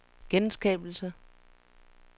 genskabelse